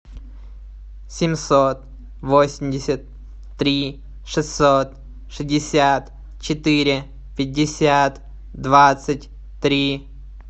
семьсот восемьдесят три шестьсот шестьдесят четыре пятьдесят двадцать три